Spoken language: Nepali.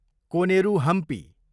कोनेरु हम्पी